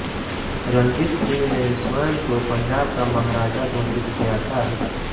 रंजीत सिंह ने स्वयं को पंजाब का महाराजा घोषित किया था